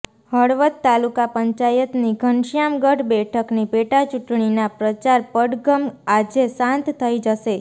હળવદ તાલુકા પંચાયતની ઘનશ્યામગઢ બેઠકની પેટા ચૂંટણીના પ્રચાર પડઘમ આજે શાંત થઇ જશે